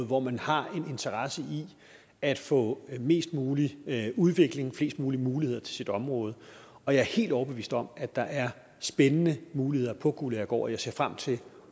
hvor man har en interesse i at få mest mulig udvikling og flest mulige muligheder til sit område og jeg er helt overbevist om at der er spændende muligheder på guldagergaard og jeg ser frem til